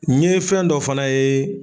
N ye fɛn dɔ fana ye